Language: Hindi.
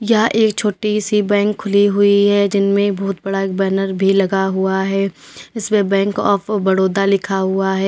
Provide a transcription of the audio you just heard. यह एक छोटी सी बैंक खुली हुई है जिनमें बोहोत बड़ा एक बैनर भी लगा हुआ है इस पे बैंक ऑफ़ बड़ौदा लिखा हुआ है।